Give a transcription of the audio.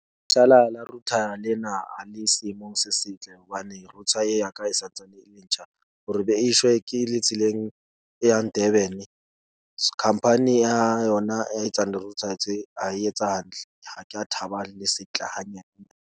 la router le ena a le seemong se setle. Hobane router ye ya ka e santsane e le ntjha hore be e shwe ke le tseleng e yang Durban-e. Company ya yona e etsang di-router tse a e etsa hantle. Ha ke a thaba, le sentle hanyane.